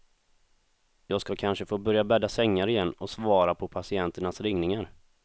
Jag skall kanske få börja bädda sängar igen och svara på patienternas ringningar.